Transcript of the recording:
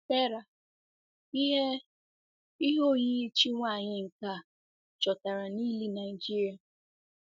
Terra - ihe - ihe oyiyi chi nwanyị nke a chọtara n'ili Nigeria.